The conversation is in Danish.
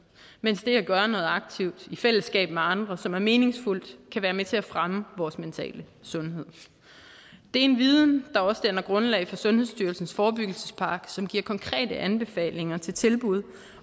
mens det at gøre noget aktivt i fællesskab med andre som er meningsfuldt kan være med til at fremme vores mentale sundhed det er en viden grundlag for sundhedsstyrelsens forebyggelsespakke som giver konkrete anbefalinger til tilbud